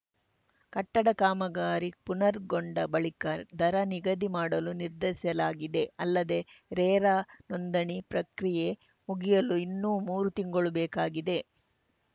ಕಟ್ಟಡ ಕಾಮಗಾರಿ ಪುನರ್ಗೊಂಡ ಬಳಿಕ ದರ ನಿಗದಿ ಮಾಡಲು ನಿರ್ಧರಿಸಲಾಗಿದೆ ಅಲ್ಲದೇ ರೇರಾ ನೋಂದಣಿ ಪ್ರಕ್ರಿಯೆ ಮುಗಿಯಲು ಇನ್ನೂ ಮೂರು ತಿಂಗಳು ಬೇಕಾಗಿದೆ